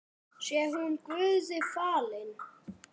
Sé hún Guði falin.